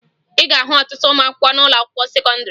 Ị ga-ahụ ọtụtụ ụmụakwụkwọ n'ụlọakwụkwọ sekọndịrị